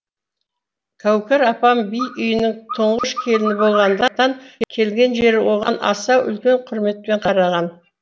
кәукер апам би үйінің тұңғыш келіні болғандықтан келген жері оған аса үлкен құрметпен қараған